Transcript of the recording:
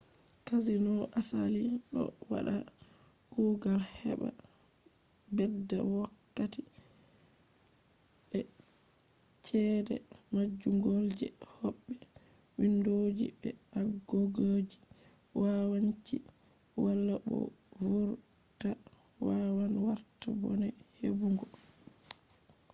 casinos asali do wada kugal heba bedda wokkati be chede majjungo je hobbe. windoji be agogoji yawanci wala bo vurta wawan warta bone hebugo